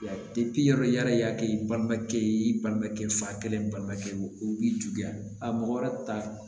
yɔrɔ yala i y'a kɛ i balimakɛ ye i balimakɛ fa kelen balimakɛ ye o b'i juguya a mɔgɔ wɛrɛ ta